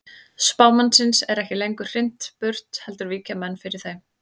Spámannsins er ekki lengur hrint burt heldur víkja menn fyrir þeim.